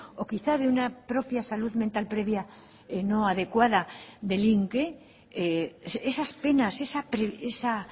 o quizá de una propia salud mental previa no adecuada delinque esas penas esa